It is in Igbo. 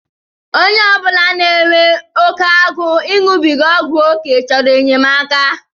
Onye obula na-enwe oke agụụ iṅụbiga ọgwụ oké chọrọ enyemaka.